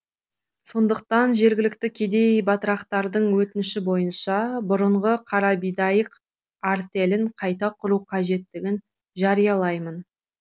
сондықтан жергілікті кедей батырақтардың өтініші бойынша бұрынғы қарабидайық артелін қайта құру қажеттігін жариялаймын